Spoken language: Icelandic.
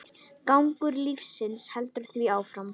Gangur lífsins heldur því áfram.